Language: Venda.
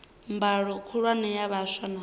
mbalo khulwane ya vhaswa na